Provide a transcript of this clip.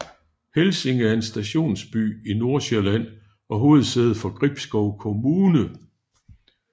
Helsinge er en stationsby i Nordsjælland og hovedsæde for Gribskov Kommune